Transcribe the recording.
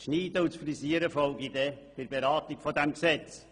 Das Schneiden und Frisieren folge dann im Rahmen der Beratung dieses Gesetzes.